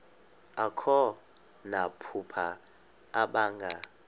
akho namaphupha abanga